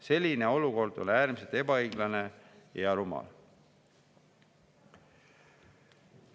Selline olukord on äärmiselt ebaõiglane ja rumal.